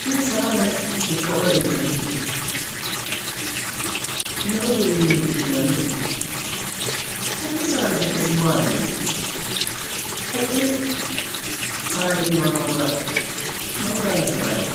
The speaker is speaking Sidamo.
Tini sagale hiikkawoy intannite? Meu birrinni hidhinannite? Tenne sagale su'ma isi maati yinanni? Ku'ii saane iima noota meu dani sagale no?